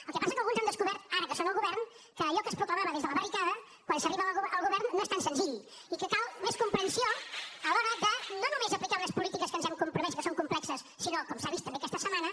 el que passa és que alguns han descobert ara que són al govern que allò que es proclamava des de la barricada quan s’arriba al govern no és tan senzill i que cal més comprensió a l’hora de no només aplicar unes polítiques a les quals ens hem compromès que són complexes sinó com s’ha vist també aquesta setmana